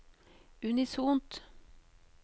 unisont